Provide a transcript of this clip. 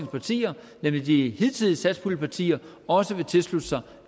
partier nemlig de hidtidige satspuljepartier også vil tilslutte sig